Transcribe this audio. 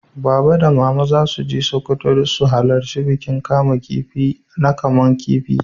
Baba da mama za su je Sokoto su halarta bikin kaman kifi na kaman kifi.